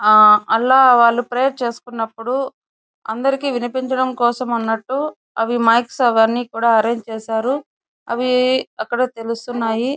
అలా వాళ్ళు అలా ప్రేయర్ చేసుకున్నప్పుడు అందరికీ వినిపించడం కోసం అన్నట్టు మైక్ అవి అరేంజ్ చేశారు. అది బాగా తెలుస్తున్నాయి.